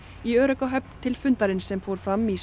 í örugga höfn til fundarins sem fór fram í